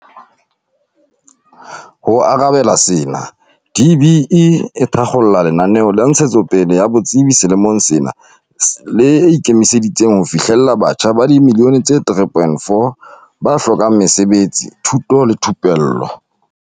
Ho arabela sena, DBE e thakgola lenaneo la ntshetsopele ya botsebi selemong sena le ikemiseditseng ho fihlella batjha ba dimillione tse3.4 ba hlokang mesebetsi, thuto le thupello.